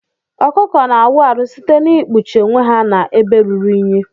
Ọkụkọ na awu arụ site na ikpụchi onwe ha na ebe ruru inyi.